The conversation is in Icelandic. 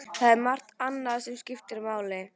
Það er margt annað sem skiptir máli.